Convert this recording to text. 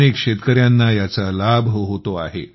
अनेक शेतकऱ्यांना याचा लाभ होतो आहे